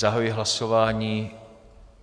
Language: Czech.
Zahajuji hlasování.